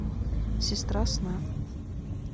сестра сна